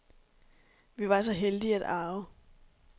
Vi var så heldige at arve.